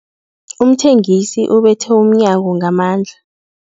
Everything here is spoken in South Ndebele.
Umthengisi ubethe umnyango ngamandla.